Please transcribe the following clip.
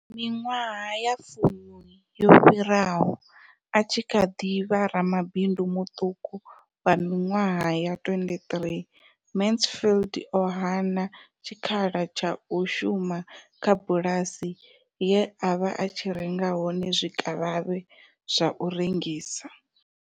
Miṅwaha ya fumi yo fhiraho, a tshi kha ḓi vha ramabindu muṱuku wa miṅwaha ya 23, Mansfield o hana tshikhala tsha u shuma kha bulasi ye a vha a tshi renga hone zwikavhavhe zwa u rengisa.